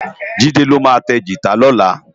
Jide lô ma tá gitá lòlá